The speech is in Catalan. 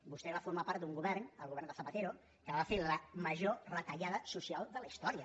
vostè va formar part d’un govern el govern de zapatero que va fer la major retallada social de la història